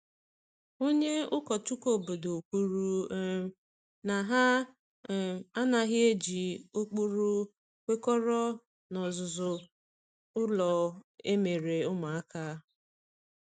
Onye ụkọchukwu obodo kwuru um na ha um anaghị eji um ụkpụrụ kwekọrọ n’ọzụzụ ụlọ akwụkwọ emere ụmụaka.